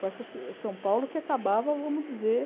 Com essa Sa São Paulo que acabava, vamos dizer...